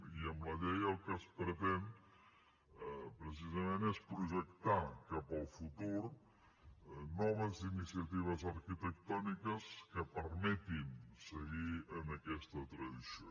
i amb la llei el que es pretén precisament és projectar cap al futur noves iniciatives arquitectòniques que permetin seguir en aquesta tradició